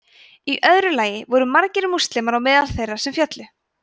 í öðru lagi voru margir múslimar á meðal þeirra sem féllu